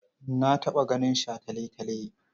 Na taɓa ganin shataletale.